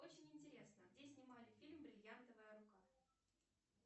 очень интересно где снимали фильм бриллиантовая рука